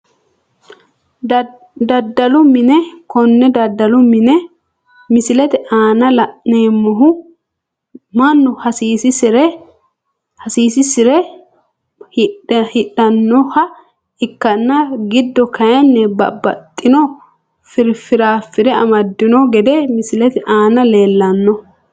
Dadalu mine kone dadalu mine misilete aana la`neemohu manu hasiisisire hidhanoha ikanna giddo kayiini babaxino firaafire amadino gede misilete aana leelano.